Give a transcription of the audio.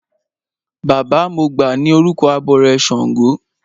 Baba mọgbà ni orúkọ abọrẹ̀ ṣàngó.